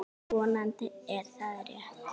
Vonandi er það rétt.